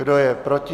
Kdo je proti?